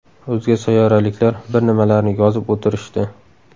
O‘zga sayyoraliklar bir nimalarni yozib o‘tirishdi.